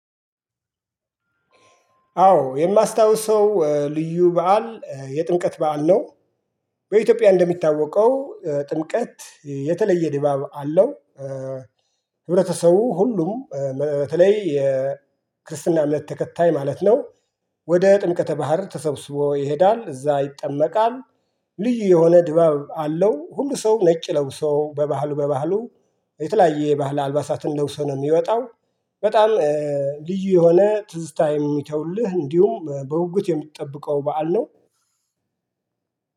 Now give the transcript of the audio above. አዎ የማስታውሰው ልዩ በዓል የጥምቀት በዓል ነው። በኢትዮጵያ እንደሚታወቀው ጥምቀት የተለየ ድባብ አለው። ህብረተሰቡ ሁሉም በተለይ የክርስትና እምነት ተከታይ ማለት ነው። ወደ ጥምቀተ ባህር ተሰብስቦ ይሄዳል እዛ ይጠመቃል። ልዩ የሆነ ድባብ አለው ሁሉ ሰው ነጭ ለብሶ በባህሉ በባህሉ የተለያየ የባህል አልባሳትን ለብሶ ነው የሚወጣው። በጣም ልዩ የሆነ ትዝታ የሚተውልህ እንዲሁም በጉጉት የምጠብቀው በዓል ነው።